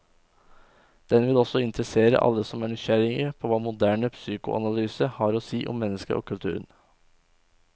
Den vil også interessere alle som er nysgjerrig på hva moderne psykoanalyse har å si om mennesket og kulturen.